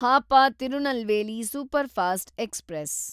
Hapa Tirunelveli superfast express